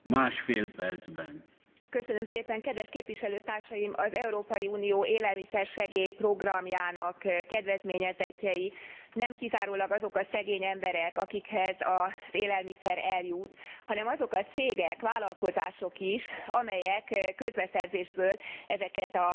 Kedves Képviselőtársaim! Az Európai Unió élelmiszersegély programjának kedvezményezettjei nem kizárólag azok a szegény emberek, akikhez az élelmiszer eljut, hanem azok a cégek, vállalkozások is, amelyek közbeszerzésből ezeket az igen nagy pénzeket megkapják.